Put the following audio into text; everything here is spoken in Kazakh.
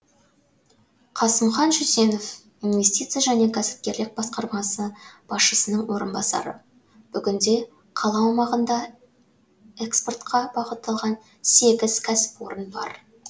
қасымхан жүзенов инвестиция және кәсіпкерлік басқармасы басшысының орынбасары бүгінде қала аумағында экспортқа бағытталған сегіз кәсіпорын бар